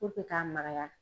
k'a magaya.